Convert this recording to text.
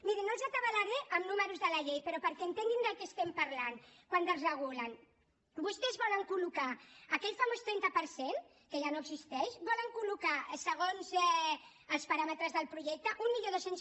mirin no els atabalaré amb números de la llei però perquè entenguin del que estam parlant quan desregulen vostès volen colque ja no existeix volen col·locar segons els paràmetres del projecte mil dos cents